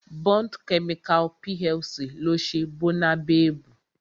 Bond Chemical PLC ló ń ṣe Bónabebu